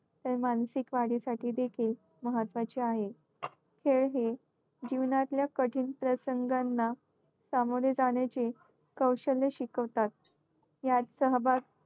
तर मानसिक वाढीसाठी देखील महत्त्वाचे आहे. खेळ हे जीवनातल्या कठीण प्रसंगांना सामोरे जाण्याचे कौशल्य शिकवतात. यात सहभाग